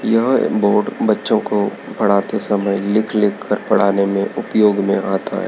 यह एक बोर्ड बच्चों को पढ़ाते समय लिख-लिख कर पढ़ाने में उपयोग में आता हैं।